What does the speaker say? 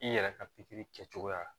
I yɛrɛ ka kɛcogoya